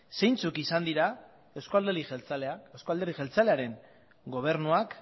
zeintzuk izan diren eusko alderdi jeltzalearen gobernuak